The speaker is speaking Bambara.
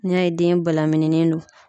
N'i y'a ye den balaminilen do